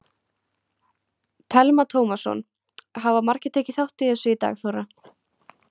Telma Tómasson: Hafa margir tekið þátt í þessu í dag Þóra?